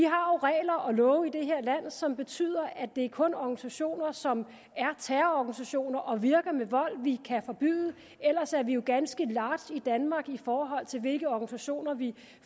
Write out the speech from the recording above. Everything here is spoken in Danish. regler og love i det her land som betyder at det kun er organisationer som er terrororganisationer og virker ved vold vi kan forbyde ellers er vi ganske large i danmark i forhold til hvilke organisationer vi